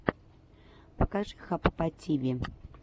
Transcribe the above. покажи хаппативи